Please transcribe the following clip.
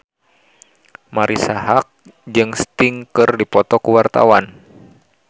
Marisa Haque jeung Sting keur dipoto ku wartawan